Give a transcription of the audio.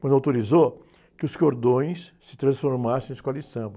Quando autorizou que os cordões se transformassem em escola de samba.